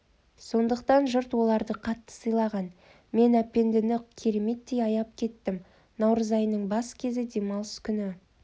сондықтан жұрт оларды қатты сыйлаған мен әпендіні кереметтей аяп кеттім наурыз айының бас кезі демалыс күні